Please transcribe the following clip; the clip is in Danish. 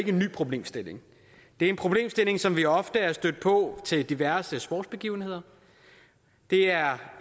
en ny problemstilling det er en problemstilling som vi ofte er stødt på til diverse sportsbegivenheder det er